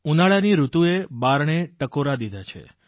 ઉનાળાની ઋતુએ બારણે ટકોરા દીધા છે